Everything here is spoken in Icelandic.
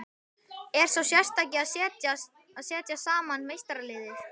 Er sá sérstaki að setja saman meistaralið?